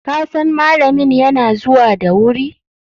kasan malamin yana zuwa da wuri!